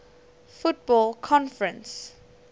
football conference afc